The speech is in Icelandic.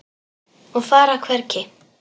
Og fara hvergi.